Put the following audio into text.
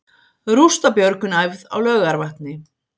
Rústabjörgun æfð á Laugarvatni